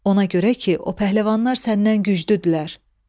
Ona görə ki, o pəhləvanlar səndən güclüdürlər.